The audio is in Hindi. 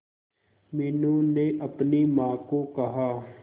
मीनू ने अपनी मां को कहा